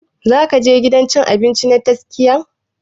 Za ka je gidan cin abinci na tastia?